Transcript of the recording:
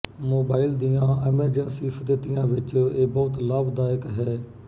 mobile ਦੀਆਂ emergency ਸਥਿਤੀਆਂ ਵਿੱਚ ਇਹ ਬਹੁਤ ਲਾਭਦਾਇਕ ਹੈ